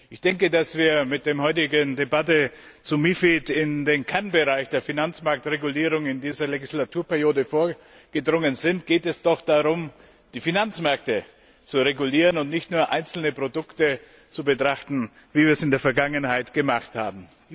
Ich denke, dass wir mit der heutigen Debatte zu MiFID in den Kann Bereich der Finanzmarktregulierungen in dieser Legislaturperiode vorgedrungen sind, geht es doch darum, die Finanzmärkte zu regulieren und nicht nur einzelne Produkte zu betrachten, wie wir es in der Vergangenheit gemacht haben.